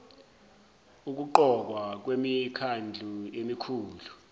ukuqokwa kwemikhandlu emikhulu